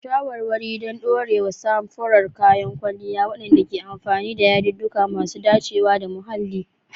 Shawarwari don ɗorewar samfuran kayan kwalliya waɗanda ke amfani da yadudduka masu dacewa da muhalli.